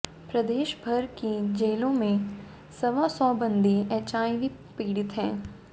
प्रदेश भर की जेलों में सवा सौ बंदी एचआईवी पीड़ित हैं